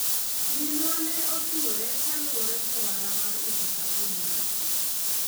minwa ne otuore kaluwore gi ohala mar uso sabun mar pi